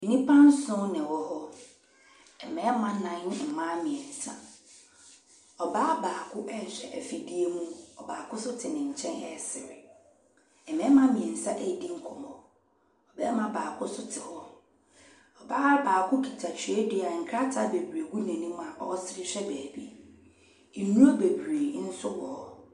Nnipa nson na wɔwɔ hɔ. Mmarima nnan ne mmaa mmeɛnsa. Ɔbaa baako rehwɛ afidie mu, ɔbaako nso te ne nkyɛn resere. Mmarima mmeɛnsa redi nkɔmmɔ. Barima baako nso te hɔ. Ɔbaa baako kita twerɛdua, nkrataa bebree gu n'anim a ɔresere hwɛ baabi. Nnuro bebree nso wɔ hɔ.